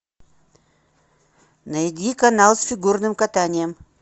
найди канал с фигурным катанием